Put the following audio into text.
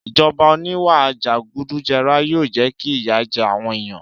Ìjọba oníwà jẹgúdújẹrá yóò jẹ́ kí ìyà jẹ àwọn èèyàn